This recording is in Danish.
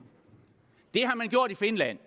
det har man gjort i finland